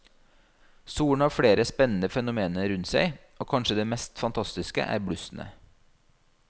Solen har flere spennende fenomener rundt seg, og kanskje det mest fantastiske er blussene.